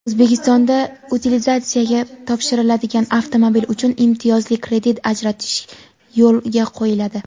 O‘zbekistonda utilizatsiyaga topshiriladigan avtomobil uchun imtiyozli kredit ajratish yo‘lga qo‘yiladi.